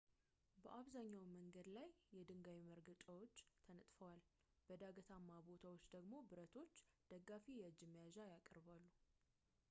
በአብዛኛው መንገድ ላይ የድንጋይ መርገጫዎች ተነጥፈዋል በዳገታማ ቦታዎቹ ደግሞ ብረቶች ደጋፊ የእጅመያዣ ያቀርባሉ